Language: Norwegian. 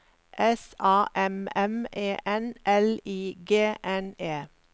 S A M M E N L I G N E